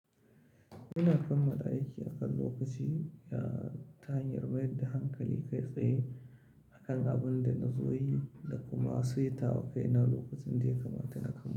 Ina kammala aiki akan lokaci, ya ta hanyar bayar da hankali kai tsaye akan abun da na zo yi da kuma seta wa kaina lokacin da ya kamata na kamo.